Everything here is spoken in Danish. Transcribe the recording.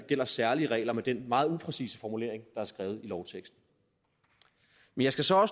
gælder særlige regler med den meget upræcise formulering i lovteksten jeg skal så